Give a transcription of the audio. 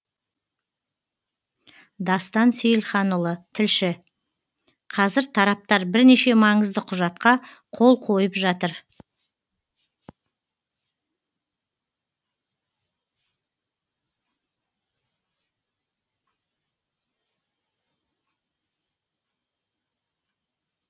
дастан сейілханұлы тілші қазір тараптар бірнеше маңызды құжатқа қол қойып жатыр